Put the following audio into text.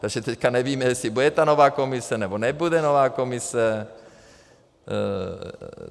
Takže teďka nevíme, jestli bude ta nová Komise, nebo nebude nová Komise.